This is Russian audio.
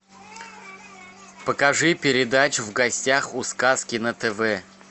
покажи передачу в гостях у сказки на тв